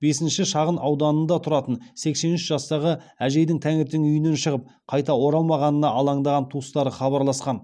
бесінші шағын ауданында тұратын сексен үш жастағы әжейдің таңертең үйінен шығып қайта оралмағанына алаңдаған туыстары хабарласқан